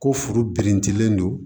Ko furu birintilen don